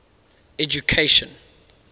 education